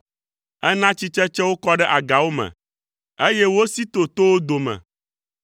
Ena tsitsetsewo kɔ ɖe agawo me, eye wosi to towo dome.